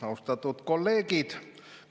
Austatud kolleegid!